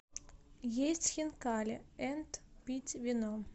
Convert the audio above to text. есть хинкали энд пить вино